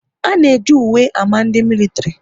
A na eji uwe ámá ndị militiri